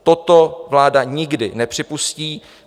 Toto vláda nikdy nepřipustí.